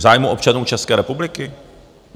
V zájmu občanů České republiky?